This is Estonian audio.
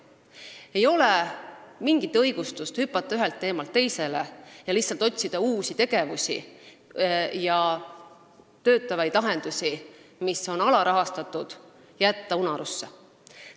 Ei ole mingit õigustust sellele, kui hüpatakse ühelt teemalt teisele ja lihtsalt otsitakse uusi tegevusi, aga töötavad lahendused, mis on alarahastatud, jäetakse unarusse.